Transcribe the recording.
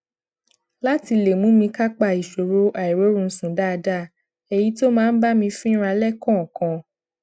láti lè mú mi kápá ìṣòro àìróorunsùn dáadáa èyí tó máa ń bá mi fínra léèkòòkan